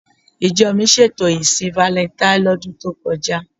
Ìjọ mi ṣètò ìsìn valẹntain lọ́dún tó kọjá.